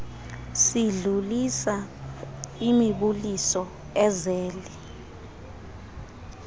sidlulisa imibuliso ezele